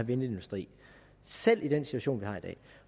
vindindustri selv i den situation vi